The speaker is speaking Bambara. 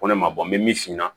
Ko ne ma bɔ n bɛ min si na